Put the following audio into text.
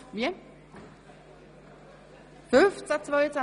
Ich freue mich auf diesen Abend mit Ihnen.